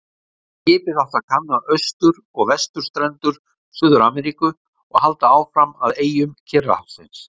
Skipið átti að kanna austur- og vesturstrendur Suður-Ameríku og halda áfram að eyjum Kyrrahafsins.